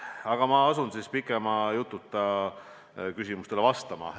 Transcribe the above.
Aga ma asun pikema jututa küsimustele vastama.